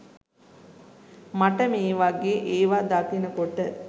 මට මේ වගෙ ඒවා දකින කොට